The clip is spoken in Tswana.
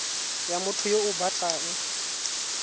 ya motho yo o batlang